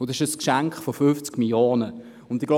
Es handelt sich um ein Geschenk von 50 Mio. Franken.